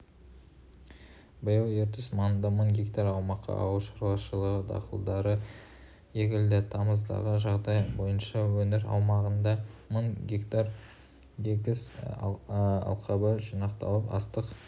биыл ертіс маңында мың гектар аумаққа ауыл шаруашылығы дақылдары егілді тамыздағы жағдай бойынша өңір аумағында мың га егіс алқабы жиналып астық